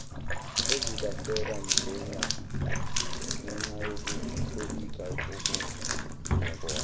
ezilahleka ngenxayokutolika okungekona